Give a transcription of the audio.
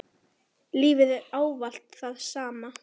Lífið er ávallt það sama.